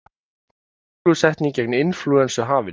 Bólusetning gegn inflúensu hafin